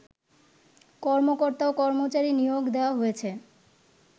কর্মকর্তা ও কর্মচারী নিয়োগ দেওয়া হয়েছে